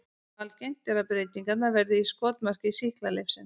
Algengt er að breytingarnar verði í skotmarki sýklalyfsins.